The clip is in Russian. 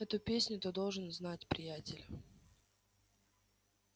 эту песню ты должен знать приятель